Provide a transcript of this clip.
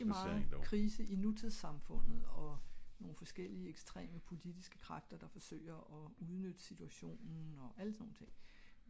der er meget krise i nutids samfundet og nogle forskellige ekstreme potlitiske magter der forsøger at udnytte situationen og alle sådan nogle ting